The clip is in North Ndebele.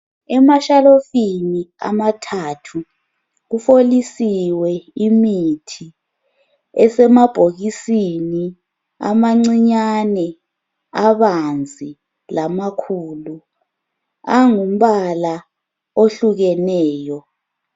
Emashalofini amathathu, kufolisiwe imithi, esemabhokisini amancinyane, abanzi, lamakhulu, angumbala ohlukeneyo.